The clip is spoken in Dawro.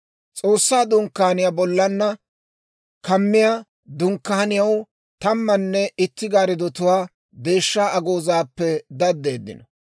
S'oossaa Dunkkaaniyaa bollana kammiyaa dunkkaaniyaw tammanne itti gaariddotuwaa deeshshaa agoozaappe daddeeddino.